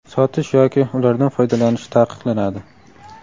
sotish yoki ulardan foydalanish taqiqlanadi.